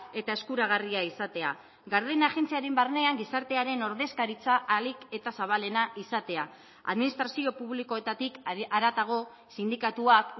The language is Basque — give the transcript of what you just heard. eta eskuragarria izatea garden agentziaren barnean gizartearen ordezkaritza ahalik eta zabalena izatea administrazio publikoetatik haratago sindikatuak